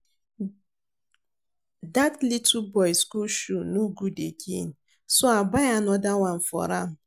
Dat little boy school shoe no good again so I buy another one for am